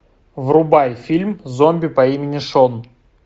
врубай фильм зомби по имени шон